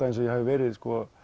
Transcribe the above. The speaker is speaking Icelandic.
eins og ég hafi verið